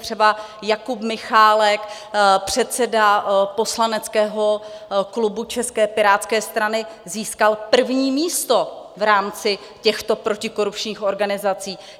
Třeba Jakub Michálek, předseda poslaneckého klubu České pirátské strany, získal první místo v rámci těchto protikorupčních organizací.